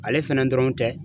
Ale fɛnɛ dɔrɔn tɛ